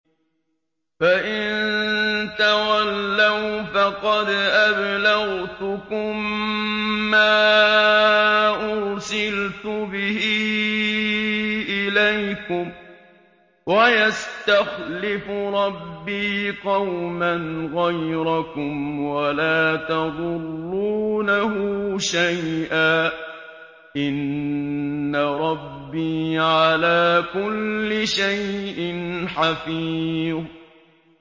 فَإِن تَوَلَّوْا فَقَدْ أَبْلَغْتُكُم مَّا أُرْسِلْتُ بِهِ إِلَيْكُمْ ۚ وَيَسْتَخْلِفُ رَبِّي قَوْمًا غَيْرَكُمْ وَلَا تَضُرُّونَهُ شَيْئًا ۚ إِنَّ رَبِّي عَلَىٰ كُلِّ شَيْءٍ حَفِيظٌ